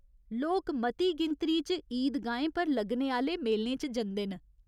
लोक मती गिनतरी च ईद गाहें पर लग्गने आह्‌ले मेलें च जंदे न।